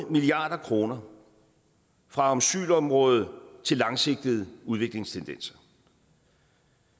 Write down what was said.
milliard kroner fra asylområdet til langsigtede udviklingsindsatser